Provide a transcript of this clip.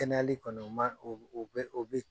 Kɛnɛyali kɔni u man u bɛ u bɛ u bɛ ye.